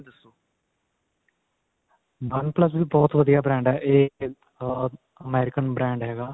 oneplus ਵੀ ਬਹੁਤ ਵਧੀਆ brand ਹੈ ਇਹ ਅਅ American brand ਹੈਗਾ.